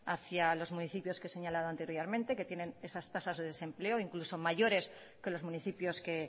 hacia los municipios que he señalado anteriormente que tienen esas tasas de desempleo incluso mayores que los municipios que